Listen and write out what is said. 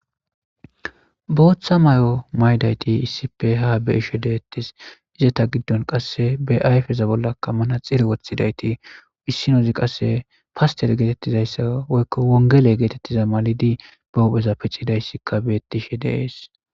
Booththa may'o maydayti issife ha beishe deettis izeta giddon qasse beayfeza bollakka mana xiri woththidayti issinozi qasse paster geetettizayssa woykko wongele geetettiza malidi bahopheza piccidayssikka beetishe dees